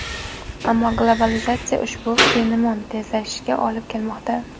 Ammo globalizatsiya ushbu fenomen tezlashishiga olib kelmoqda.